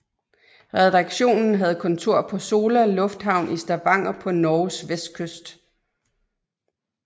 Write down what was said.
Redaktionen havde kontor på Sola Lufthavn i Stavanger på Norges vestkyst